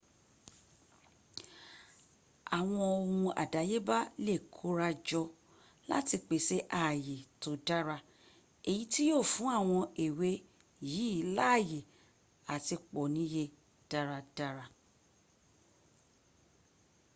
àwọn ohun àdáyébá lè kórajọ láti pèsè ààyè tó dára èyí tí yíó fún àwọn ewé yìí láàyè àti pọ̀ níye dáradára